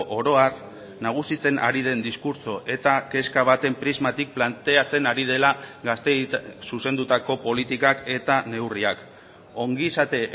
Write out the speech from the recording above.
oro har nagusitzen ari den diskurtso eta kezka baten prismatik planteatzen ari dela gazteei zuzendutako politikak eta neurriak ongizate